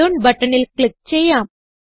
ഇറോൺ ബട്ടണിൽ ക്ലിക്ക് ചെയ്യാം